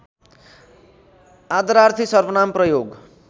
आदरार्थी सर्वनाम प्रयोग